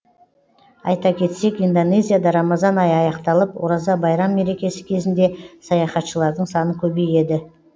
айта кетсек индонезияда рамазан айы аяқталып ораза байрам мерекесі кезінде саяхатшылардың саны көбейеді